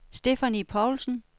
Stephanie Poulsen